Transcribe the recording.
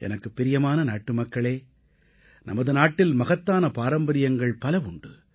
எனக்குப் பிரியமான நாட்டுமக்களே நமது நாட்டில் மகத்தான பாரம்பரியங்கள் பல உண்டு